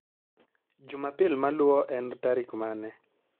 Jumapil maluwo en tarik mane?